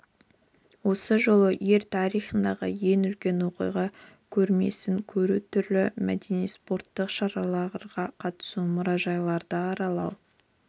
осы жолы ел тарихындағы ең үлкен оқиға көрмесін көру түрлі мәдени спорттық шараларға қатысу мұражайларды аралау